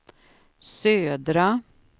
södra